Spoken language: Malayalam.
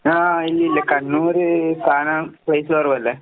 ആഹ് ഇല്ലയില്ല, കണ്ണൂര് കാണാൻ പ്ലേസ് കൊറവല്ലേ.